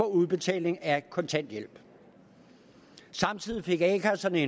udbetaling af kontanthjælp samtidig fik a kasserne